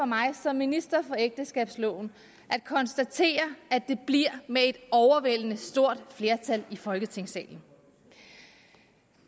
mig som minister for ægteskabsloven at konstatere at det bliver med et overvældende stort flertal i folketingssalen